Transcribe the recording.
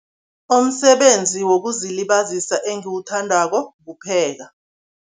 Umsebenzi wokuzilibazisa engiwuthandako kupheka.